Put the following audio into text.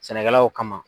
Sɛnɛkɛlaw ka